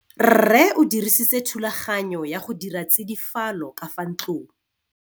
Rrê o dirisitse thulaganyô ya go dira tsidifalô ka fa ntlong.